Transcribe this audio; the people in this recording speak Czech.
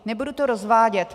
Nebudu to rozvádět.